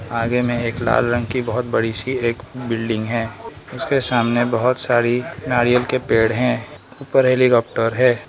आगे में एक लाल रंग की बहोत बड़ी सी एक बिल्डिंग है उसके सामने बहोत सारी नारियल के पेड़ हैं ऊपर हेलीकॉप्टर है।